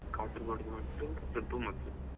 Kasaragod ದು ಮೊದ್ಲು ಸ್ವಲ್ಪ ಮೊದ್ಲು.